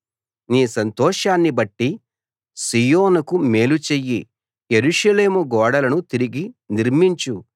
నీ సంతోషాన్ని బట్టి సీయోనుకు మేలు చెయ్యి యెరూషలేము గోడలను తిరిగి నిర్మించు